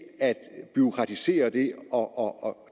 bureaukratisere det og